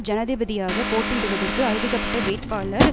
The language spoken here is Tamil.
ஜனாதிபதியாக போட்டியிடுவதற்கு அறிவிக்கப்பட்ட வேட்பாளர்